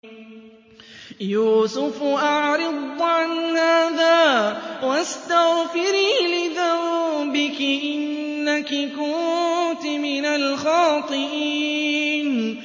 يُوسُفُ أَعْرِضْ عَنْ هَٰذَا ۚ وَاسْتَغْفِرِي لِذَنبِكِ ۖ إِنَّكِ كُنتِ مِنَ الْخَاطِئِينَ